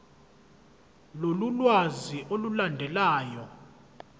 lolu lwazi olulandelayo